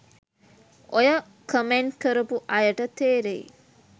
ඔය කමෙන්ට් කරපු අයට තේරෙයි